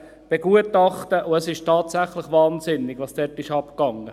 begutachtenEsisttatsächlichwahnsinnigwasdortabgegangenist